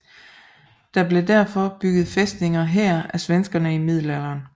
Der blev derfor bygget fæstninger her af svenskerne i middelalderen